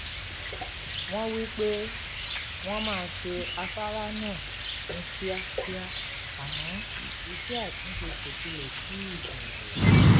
wọ́n wí pé wọ́n máa ṣe afárá náà ní kíákíá àmọ́ iṣẹ́ àtúnṣe kò tilẹ̀ tíì bẹ̀rẹ̀